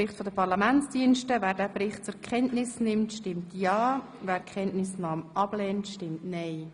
Wer diesen Bericht zur Kenntnis nimmt, stimmt ja, wer die Kenntnisnahme ablehnt, stimmt nein.